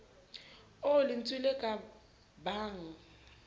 oo lentswe le ka bang